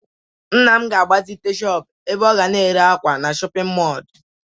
Nna m ga-agbazite shọpụ ebe ọ ga na-ere akwa na shọpịn mọọlụ.